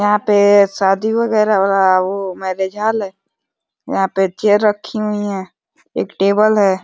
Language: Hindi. यहां पे शादी वगैरह हो रहा है। वो मैरिज हॉल है। यहां पे चेयर रखी हुई हैं। एक टेबल है।